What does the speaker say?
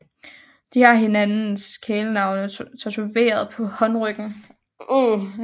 De har hinandens kælenavne tatoveret på håndryggen